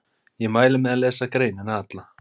Ég mæli með að lesa greinina alla.